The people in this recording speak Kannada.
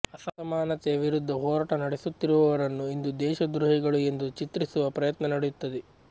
ಅಸಮಾನತೆಯ ವಿರುದ್ಧ ಹೋರಾಟ ನಡೆಸುತ್ತಿರುವವರನ್ನು ಇಂದು ದೇಶ ದ್ರೋಹಿಗಳು ಎಂದು ಚಿತ್ರಿಸುವ ಪ್ರಯತ್ನ ನಡೆಯುತ್ತದೆ